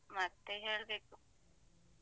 ಮತ್ತೆ ಹೇಳ್ಬೇಕು.